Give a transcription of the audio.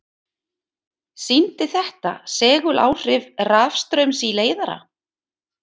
Sýndi þetta seguláhrif rafstraums í leiðara.